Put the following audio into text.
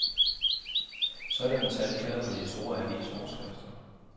Sådanne tal kalder på de store avisoverskrifter.